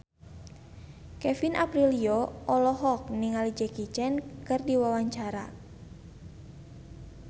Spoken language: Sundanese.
Kevin Aprilio olohok ningali Jackie Chan keur diwawancara